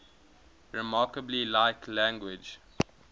remarkably like language